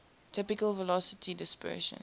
typical velocity dispersion